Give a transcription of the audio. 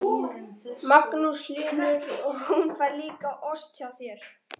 Magnús Hlynur: Og hún fær líka ost hjá þér?